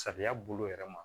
Sariya bolo yɛrɛ ma